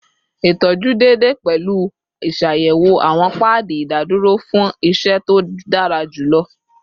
Itọju deede pẹlu iṣayẹwo awọn paadi idaduro fun iṣẹ to dara julọ